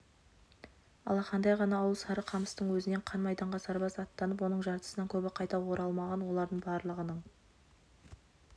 алақандай ғана ауыл сарықамыстың өзінен қан майданға сарбаз аттанып оның жартысынан көбі қайта оралмаған олардың барлығының